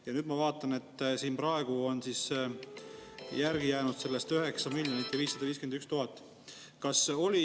Ja nüüd ma vaatan, et praegu on järele jäänud sellest 9 551 000.